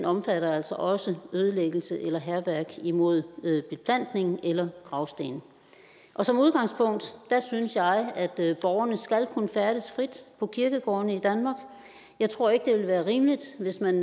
omfatter altså også ødelæggelse af eller hærværk imod beplantning eller gravsten som udgangspunkt synes jeg at borgerne skal kunne færdes frit på kirkegårdene i danmark jeg tror ikke det ville være rimeligt hvis man